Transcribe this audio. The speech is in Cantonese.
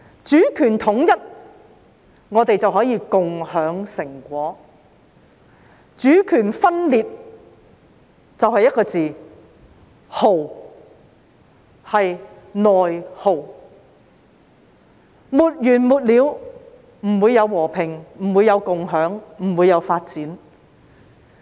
主權統一，我們便可以共享成果；主權分裂，便得一個"耗"字，即"內耗"；內耗沒完沒了，便不會有和平，不會有共享，不會有發展。